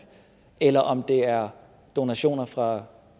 eller om det er donationer fra